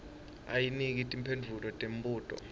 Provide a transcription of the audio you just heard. anike timphendvulo temibuto